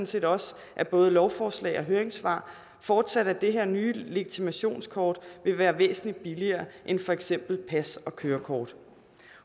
set også af både lovforslag og høringssvar fortsat at det her nye legitimationskort vil være væsentlig billigere end for eksempel pas og kørekort